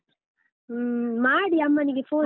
ಹೂಂ, ಮಾಡಿ ಅಮ್ಮನಿಗೆ phone ನು.